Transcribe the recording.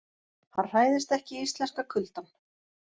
Hann hræðist ekki íslenska kuldann.